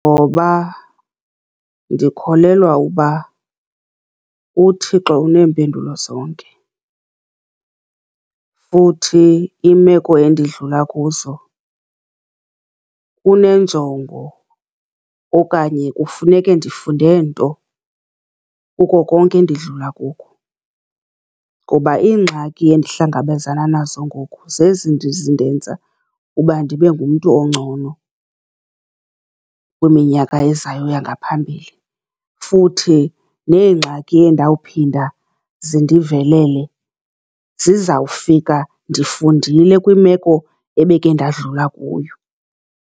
Ngoba ndikholelwa uba uThixo uneempendulo zonke, futhi imeko endidlula kuzo unenjongo, okanye kufuneke ndifunde nto kuko konke endidlula kuko. Ngoba iingxaki endihlangabezana nazo ngoku zezi zindenza uba ndibe ngumntu ongcono kwiminyaka ezayo yangaphambili, futhi neengxaki endawuphinda zindivelele zizawufika ndifundile kwimeko ebeke ndadlula kuyo.